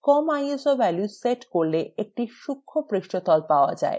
কম iso value set করলে একটি সূক্ষ্ম পৃষ্ঠতল পাওয়া যায়